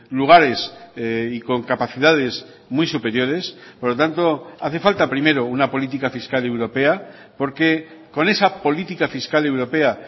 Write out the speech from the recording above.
lugares y con capacidades muy superiores por lo tanto hace falta primero una política fiscal europea porque con esa política fiscal europea